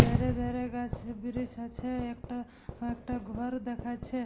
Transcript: ধারে ধারে গাছ ব্রিজ আছে একটা একটা ঘর দেখাছে ।